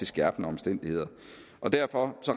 skærpende omstændigheder derfor